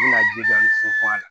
I bɛna ju da ni funfun a la